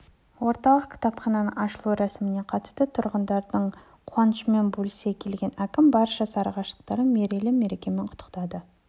орталық кітапхананың ашылу рәсіміне қатысты тұрғындардың қуанышымен бөлісе келген әкім барша сарыағаштықтарды мерейлі мерекемен құттықтады